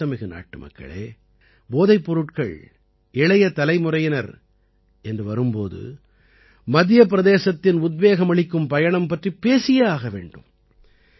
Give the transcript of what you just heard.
என் பாசமிகு நாட்டுமக்களே போதைப் பொருட்கள் இளைய தலைமுறையினர் என்று வரும் போது மத்திய பிரதேசத்தின் உத்வேகமளிக்கும் பயணம் பற்றிப் பேசியே ஆக வேண்டும்